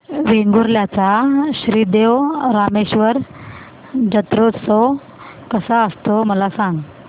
वेंगुर्ल्या चा श्री देव रामेश्वर जत्रौत्सव कसा असतो मला सांग